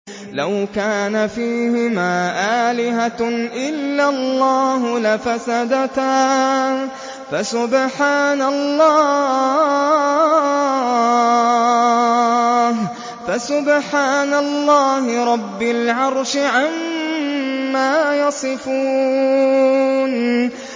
لَوْ كَانَ فِيهِمَا آلِهَةٌ إِلَّا اللَّهُ لَفَسَدَتَا ۚ فَسُبْحَانَ اللَّهِ رَبِّ الْعَرْشِ عَمَّا يَصِفُونَ